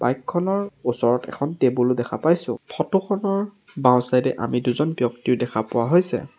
Bike খনৰ ওচৰত এখন টেবুল দেখা পাইছোঁ ফটো খনৰ বাওঁচাইড এ আমি দুজন ব্যক্তিও দেখা পোৱা হৈছে।